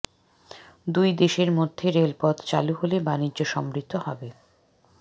দুই দেশের মধ্যে রেলপথ চালু হলে বাণিজ্য সমৃদ্ধ হবে